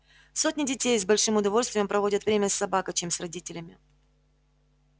сотни детей с большим удовольствием проводят время с собакой чем с родителями